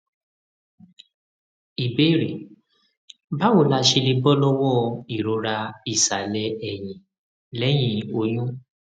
ìbéèrè báwo la ṣe lè bọ lọwọ ìrora ìsàlẹ ẹyìn lẹyìn oyún